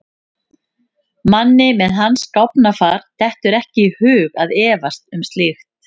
Manni með hans gáfnafar dettur ekki í hug að efast um slíkt.